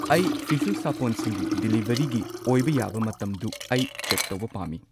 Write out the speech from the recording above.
ꯑꯩ ꯐꯤꯁꯨ ꯁꯥꯄꯣꯟꯁꯤꯡꯒꯤ ꯗꯤꯂꯤꯚꯔꯤꯒꯤ ꯑꯣꯏꯕ ꯌꯥꯕ ꯃꯇꯝꯗꯨ ꯑꯩ ꯆꯦꯛ ꯇꯧꯕ ꯄꯥꯝꯃꯤ